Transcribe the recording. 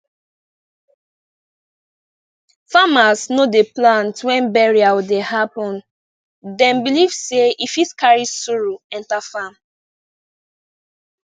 farmers no dey plant when burial dey happen dem believe sey e fit carry sorrow enter farm